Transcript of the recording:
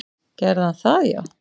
Gerði hann það já?